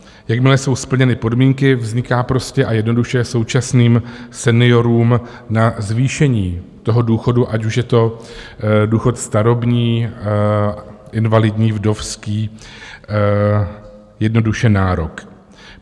Jakmile jsou splněny podmínky, vzniká prostě a jednoduše současným seniorům na zvýšení toho důchodu, ať už je to důchod starobní, invalidní, vdovský, jednoduše nárok.